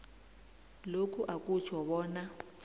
lokhu akutjho bona